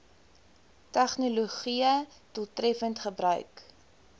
tegnologië doeltreffend gebruik